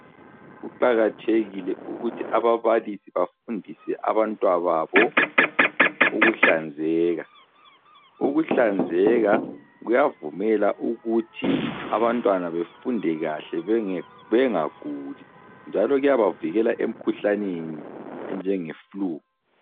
Kuqakathekile ukuthi ababalisi bafundise abantwababo ukuhlanzeka. Ukuhlanzeka kuyavumela ukuthi abantwana befunde kahle bengaguli. Njalo kuyabavikela emkhuhlaneni enjenge flu.